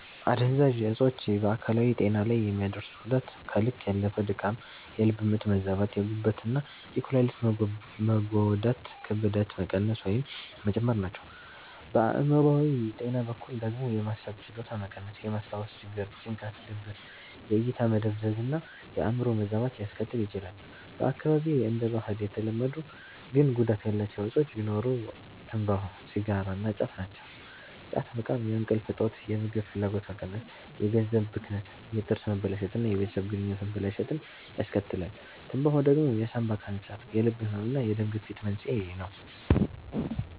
አደንዛዥ እጾች በአካላዊ ጤና ላይ የሚያደርሱት ጉዳት ከልክ ያለፈ ድካም፣ የልብ ምት መዛባት፣ የጉበት እና የኩላሊት መጎዳት፣ ክብደት መቀነስ ወይም መጨመር ናቸው። በአእምሮአዊ ጤና በኩል ደግሞ የማሰብ ችሎታ መቀነስ፣ የማስታወስ ችግር፣ ጭንቀት፣ ድብርት፣ የእይታ መደብዘዝ እና የአዕምሮ መዛባት ሊያስከትል ይችላል። በአካባቢዬ እንደ ባህል የተለመዱ ግን ጉዳት ያላቸው እጾች ቢኖሩ ትምባሆ (ሲጋራ) እና ጫት ናቸው። ጫት መቃም የእንቅልፍ እጦት፣ የምግብ ፍላጎት መቀነስ፣ የገንዘብ ብክነት፣ የጥርስ መበላሸት እና የቤተሰብ ግንኙነት መበላሸትን ያስከትላል። ትምባሆ ደግሞ የሳንባ ካንሰር፣ የልብ ህመም እና የደም ግፊት መንስኤ ነው።